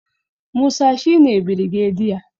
Musa shi ne birgediya